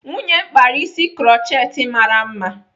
Nwunye m kpara isi krutchet mara mma.